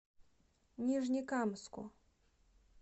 нижнекамску